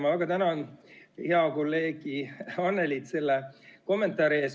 Ma väga tänan head kolleegi Annelyt selle kommentaari eest!